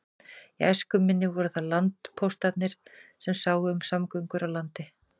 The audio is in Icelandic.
Í æsku minni voru það landpóstarnir sem sáu um samgöngur á landi.